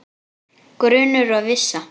Grunur og vissa